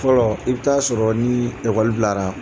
Fɔlɔ i bɛ t'a sɔrɔ ni ekɔli bilara.